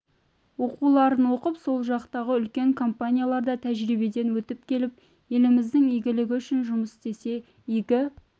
оқуларын оқып сол жақтағы үлкен компанияларда тәжірибеден өтіп келіп еліміздің игілігі үшін жұмыс істесе игі